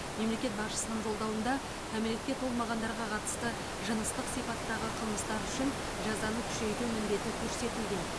мемлекет басшысының жолдауында кәмелетке толмағандарға қатысты жыныстық сипаттағы қлымыстар үшін жазаны күшейту міндеті көрсетілген